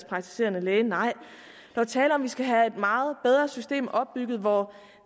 praktiserende læge nej der er tale om skal have et meget bedre system opbygget hvor